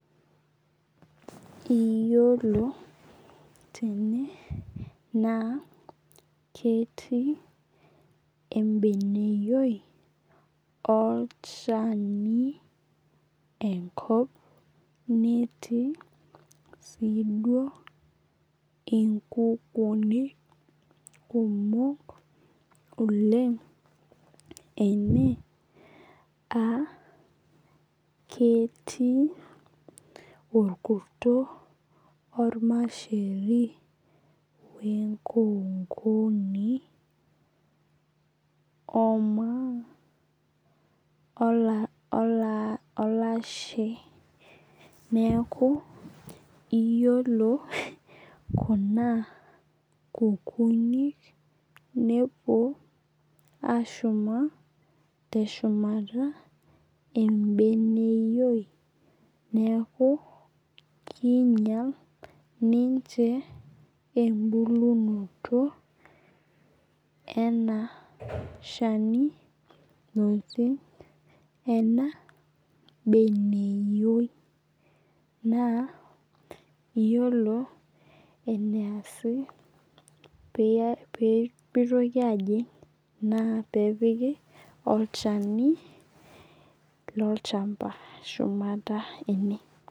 Iyiolo tene naa ketii ebeneyioi olchani enkop neeti sii duo inkukunik kumok oleng' ene aa ketii orkuto ormasheri wee nkokoni oo maa olashe neeku iyiolo kuna kukunik nouo ashuma teshumata ebeneyioi neekuu kinyal ninche ebulunoto enaa shani naati ena beneyioi naa iyiolo ene asi pemitoki ajing' naa peepiki olchani lolchamba shumata ene.